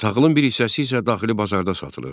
Taxılın bir hissəsi isə daxili bazarda satılırdı.